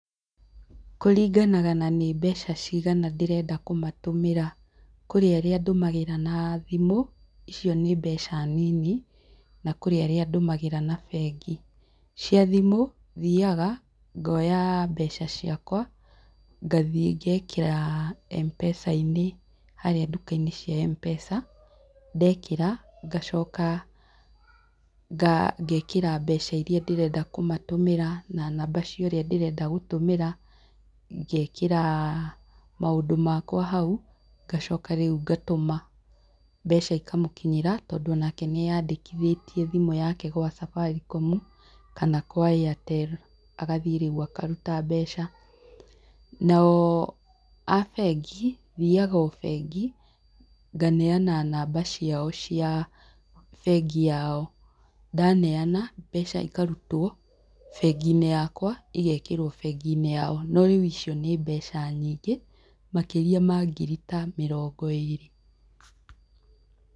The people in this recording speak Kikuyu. Kũringanaga na nĩ mbeca cigana ndĩrenda kũmatũmĩra. Kũrĩ arĩa ndũmagĩra na thimũ, icio nĩ mbeca nini. Na kũrĩ arĩa ndũmagĩra na bengi. Cia thimũ, thiaga, ngoya mbeca ciakwa, ngathiĩ, ngeekĩra M-Pesa-inĩ, harĩa nduka-inĩ cia M-Pesa , ndekĩra ngacoka ngeekĩra mbeca iria ndĩrenda kũmatũmĩra na namba cia ũrĩa ndĩrenda gũtũmĩra, ngeekĩra maũndũ makwa hau, ngacoka rĩu ngatũma, mbeca ikamũkinyĩra tondũ onake nĩeandĩkĩthĩtie thimũ yake gwa Safaricom , kana kwa Airtel , agathiĩ rĩu akaruta mbeca. Nao a bengi, thiaga o bengi, nganeana namba ciao cia bengi yao. Ndaneana mbeca ikarutwo, bengi-inĩ yakwa igeekĩrwo bengi-inĩ yao. Rĩu icio nĩ mbeca nyingĩ, makĩria ma ngiri ta mĩrongo ĩrĩ.